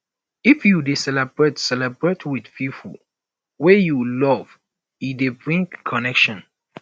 if you dey celebrate celebrate with pipo wey you love e dey bring connection